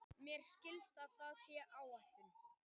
Mér skilst að það sé á áætlun.